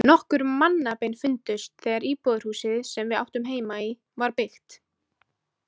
Nokkur mannabein fundust þegar íbúðarhúsið, sem við áttum heima í, var byggt.